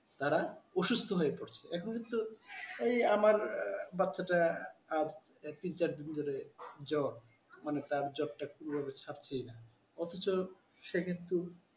তারা অসুস্থ হয়ে পড়ছে এখন হয়তো এই আমার বাচ্চাটা একই চার দিন ধরে জ্বর তার জ্বরটা কিভাবে ছাড়ছেই না অথচ সে কিন্তু